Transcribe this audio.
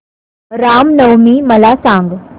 राम नवमी मला सांग